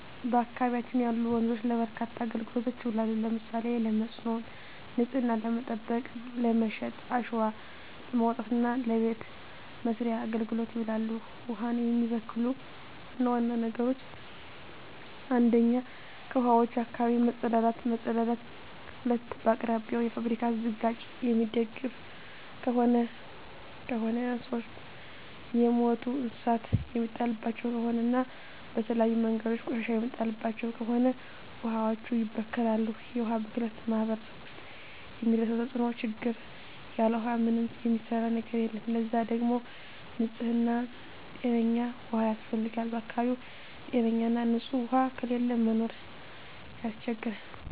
በአካባቢያችን ያሉ ወንዞች ለበርካታ አገልግሎቶች ይውላሉ። ለምሳሌ ለመስኖ፣ ንጽህናን ለመጠበቅ፣ ለመጠጥ፣ አሸዋ ለማውጣት እና ለበቤት መሥርያ አገልግሎት ይውላሉ። ውሀን የሚበክሉ ዋና ዋና ነገሮች 1ኛ ከውሀዋች አካባቢ መጸዳዳት መጸዳዳት 2ኛ በአቅራቢያው የፋብሪካ ዝቃጭ የሚደፍ ከሆነ ከሆነ 3ኛ የሞቱ እንስሳት የሚጣልባቸው ከሆነ እና በተለያዩ መንገዶች ቆሻሻ የሚጣልባቸው ከሆነ ውሀዋች ይበከላሉ። የውሀ ብክለት በማህረሰቡ ውስጥ የሚያደርሰው ተጽዕኖ (ችግር) ያለ ውሃ ምንም የሚሰራ ነገር የለም ለዛ ደግሞ ንጽህና ጤነኛ ውሃ ያስፈልጋል በአካባቢው ጤነኛ ና ንጽህ ውሃ ከሌለ ለመኖር ያስቸግራል።